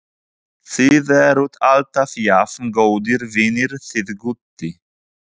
Þið eruð alltaf jafn góðir vinir þið Gutti?